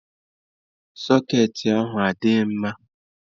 Sọcketị ahụ adịghị mma.